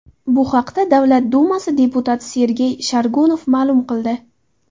Bu haqda Davlat dumasi deputati Sergey Shargunov ma’lum qildi .